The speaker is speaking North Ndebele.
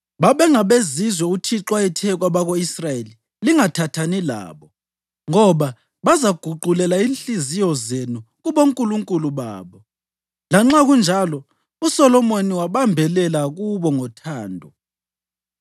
Babengabezizwe uThixo ayethe kwabako-Israyeli, “Lingathathani labo, ngoba bazaguqulela inhliziyo zenu kubonkulunkulu babo.” Lanxa kunjalo, uSolomoni wabambelela kubo ngothando.